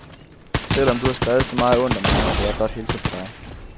Selv om du har skrevet så meget ondt om mig, vil jeg godt hilse på dig.